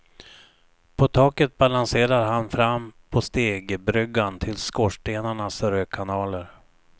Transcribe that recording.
På taket balanserar han fram på stegbryggan till skorstenarnas rökkanaler.